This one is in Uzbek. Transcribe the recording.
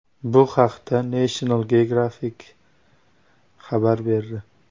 Bu haqda National Geografic xabar berdi .